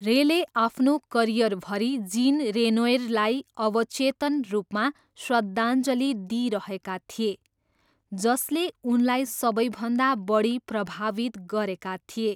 रेले आफ्नो करियरभरि जिन रेनोइरलाई अवचेतन रूपमा श्रद्धाञ्जली दिइरहेका थिए, जसले उनलाई सबैभन्दा बढी प्रभावित गरेका थिए।